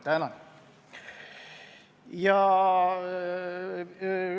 Tänan!